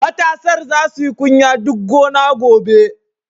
Matasar za su yi kunya duk gona gobe.